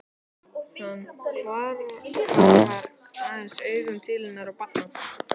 Hann hvarflar aðeins augum til hennar og barnanna.